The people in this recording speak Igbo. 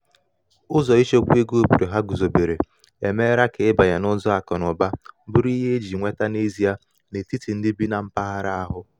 usoro ịchekwa ego obodo ha guzobere emeela ka ịbanye n’ụzọ akụ na ụba bụrụ ihe e ji nweta n’ezie n’etiti ndị bi na mpaghara ahụ